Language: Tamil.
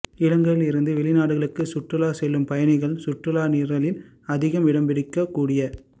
இலங்கையிலிருந்து வெளிநாடுகளுக்கு சுற்றுலா செல்லும் பயணிகளின் சுற்றுலா நிரலில் அதிகம் இடம்பிடிக்கக் கூடிய